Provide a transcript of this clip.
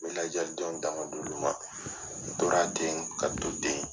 N bɛ lajɛlidenw dan ka d'olu ma n tora ten ka to ten